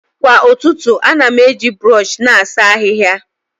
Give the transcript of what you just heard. Kwa ụtụtụ, ana m eji brọsh na-asa ahịhịa.